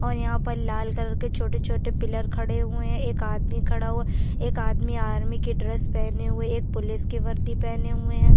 और यहाँ पर लाल कलर के छोटे-छोटे पिलर खड़े हुए हैं एक आदमी खड़ा हुआ है एक आदमी आर्मी की ड्रेस पहने हुए एक पुलिस की वर्दी पहने हुए है।